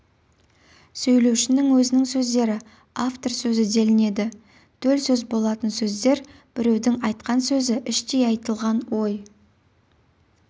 сөйлеушінің өзінің сөздері автор сөзі делінеді төл сөз болатын сөздер біреудің айтқан сөзі іштей айтылған ой